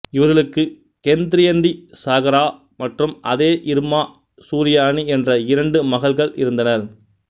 இவர்களுக்கு கென்த்திரியந்தி சகாரா மற்றும் அதே இர்மா சூர்யானி என்ற இரண்டு மகள்கள் இருந்தனர்